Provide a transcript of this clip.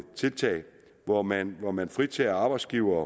tiltag hvor man hvor man fritager arbejdsgiverne